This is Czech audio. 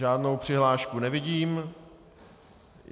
Žádnou přihlášku nevidím.